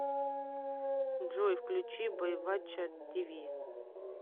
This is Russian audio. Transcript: джой включи бойвачча ти ви